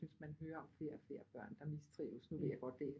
Jeg synes man hører om flere og flere børn der mistrives nu ved jeg godt det